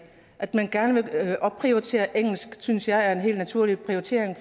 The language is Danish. at man gerne vil opprioritere engelsk synes jeg er en helt naturlig prioritering